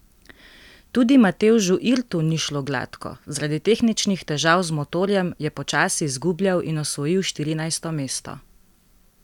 Tudi Matevžu Irtu ni šlo gladko, zaradi tehničnih težav z motorjem je počasi izgubljal in osvojil štirinajsto mesto.